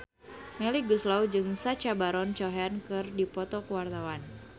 Melly Goeslaw jeung Sacha Baron Cohen keur dipoto ku wartawan